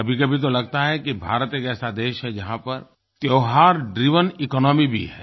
कभीकभी तो लगता है कि भारत एक ऐसा देश है जहाँ पर त्योहार ड्राइवेन इकोनॉमी भी है